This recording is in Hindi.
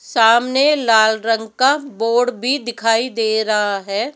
सामने लाल रंग का बोर्ड भी दिखाई दे रहा है।